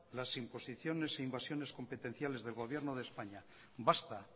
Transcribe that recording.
las imposiciones e invasiones competenciales del gobierno de españa basta